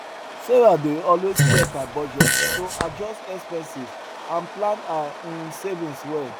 sarah dey always check her budget to adjust expenses and plan her um savings well